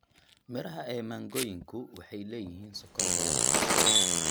Midhaha ee mangooyinku waxay leeyihiin sokor badan.